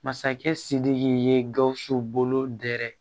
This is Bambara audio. Masakɛ sidiki ye gawusu bolo dɛrɛ